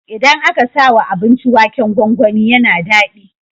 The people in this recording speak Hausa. Idan aka sawa abinci waken gwangwani yAna dadi